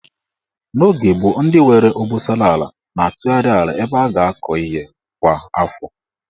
N'oge gboo, ndị nwere obosara ala na-atụgharị ala ebe a ga-akọ ihe kwa afọ.